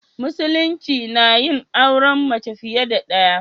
Musulunci nayin auren mace fiye da ɗaya.